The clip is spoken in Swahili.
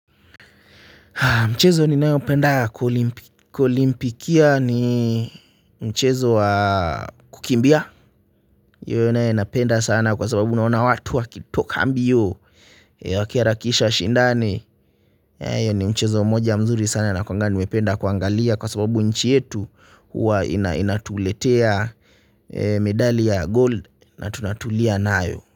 Mchezo ninayopenda kwa olimpikia ni mchezo wa kukimbia hiyo nae napenda sana kwa sababu naona watu wakitoka mbio wakiharakisha washindane hiyo ni mchezo mmoja mzuri sana nakuanga nimependa kuangalia kwa sababu nchi yetu huwa inatuletea medali ya gold na tunatulia nayo.